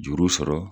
Juru sɔrɔ